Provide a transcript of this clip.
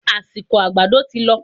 Àsìkò àgbàdo tí lọ